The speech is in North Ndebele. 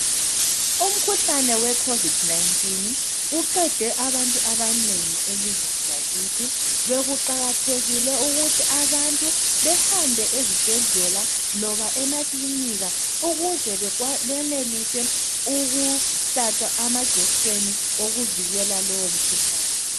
Umkhuhlane weCOVID19, uqede abantu abanengi elizweni lakithi, bekuqakathekile ukuthi abantu behambe ezibhedlela loba emakilinika ukuze benelise ukuhlatshwa amajekiseni okuvikela lowu umkhuhlane